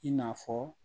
I n'a fɔ